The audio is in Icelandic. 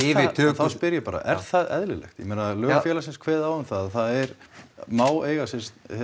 þá spyr ég bara er það eðlilegt ég meina lög félagsins kveða á um það að það megi eiga sér